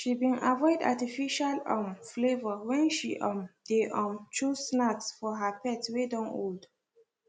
she been avoid artificial um flavour when she um dey um choose snacks for her pet wey don old